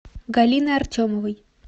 галины артемовой